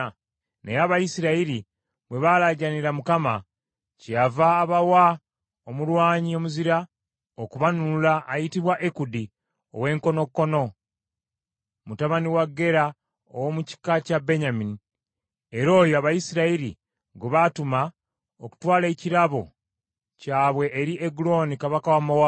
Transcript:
Naye Abayisirayiri bwe baalaajanira Mukama , kyeyava abawa omulwanyi omuzira okubanunula ayitibwa Ekudi ow’enkonokono mutabani wa Gera ow’omu kika kya Benyamini; era oyo Abayisirayiri gwe baatuma okutwala ekirabo kyabwe eri Egulooni kabaka wa Mowaabu.